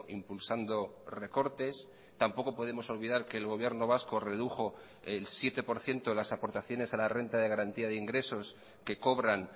impulsando recortes tampoco podemos olvidar que el gobierno vasco redujo el siete por ciento de las aportaciones a la renta de garantía de ingresos que cobran